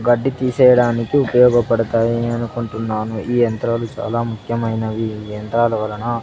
గడ్డి తీసేయడానికి ఉపయోగపడతాయి అనుకుంటున్నాను ఈ యంత్రాలు చాలా ముఖ్యమైనవి ఈ యంత్రాలవలన--